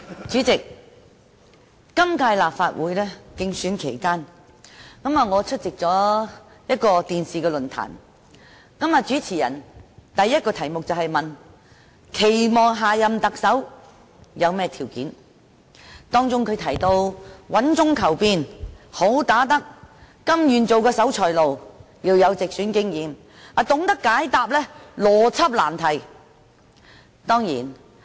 主席，在今屆立法會選舉期間，我出席了一個電視論壇。主持人問的第一個題目是我們期望下任特首具備甚麼條件，包括穩中求變、"好打得"、甘願當守財奴、有直選經驗及懂得解答邏輯難題。